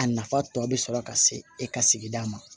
A nafa tɔ bɛ sɔrɔ ka se e ka sigida ma